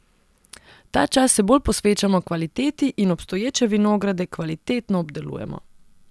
Ta čas se bolj posvečamo kvaliteti in obstoječe vinograde kvalitetno obdelujemo.